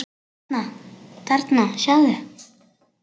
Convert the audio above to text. Þarna, sjáðu